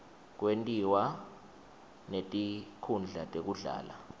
kwentiwa netinkhundla tekudlala